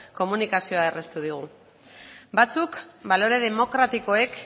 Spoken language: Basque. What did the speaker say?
komunikazioa erraztu digu batzuk balore demokratikoek